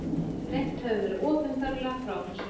Greint hefur verið opinberlega frá þessu